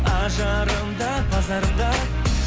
ажарым да базарым да